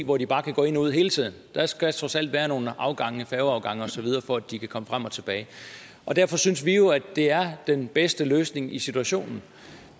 hvor de bare kan gå ind og ud hele tiden der skal trods alt være nogle færgeafgange osv for at de kan komme frem og tilbage derfor synes vi jo det er den bedste løsning i situationen